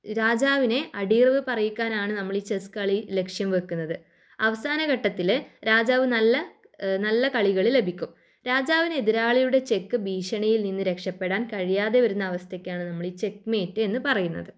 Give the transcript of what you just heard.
രാജാവിനെ അടിയറവ് പറയിക്കാനാണ് നമ്മളീ ചെസ്സ് കളി ലക്ഷ്യം വെക്കുന്നത്. അവസാന ഘട്ടത്തില് രാജാവ് നല്ല ഏഹ് നല്ല കളികള് ലഭിക്കും. രാജാവിനെ എതിരാളിയുടെ ചെക്ക് ഭീഷണിയിൽനിന്ന് രക്ഷപ്പെടാൻ കഴിയാതെ വരുന്ന അവസ്ഥയ്ക്കാണ് നമ്മളീ ചെക്ക് മേറ്റ് എന്ന് പറയുന്നത്.